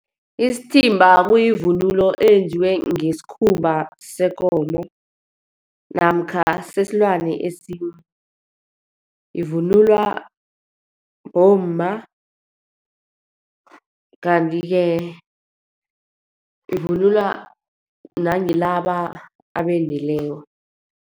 Isithimba kuyivunulo eyenziwe ngesikhumba sekomo, namkha sesilwane esinye. Ivunulwa bomma, kanti-ke ivunulwa nangilaba abendileko.